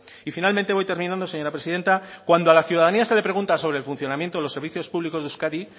y finalmente voy terminando señora presidenta cuando a la ciudadanía se le pregunta sobre el funcionamiento de los servicios públicos de euskadi